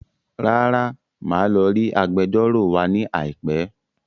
Rárá, màá lọ rí Agbẹjọ́rò wa ní àìpẹ́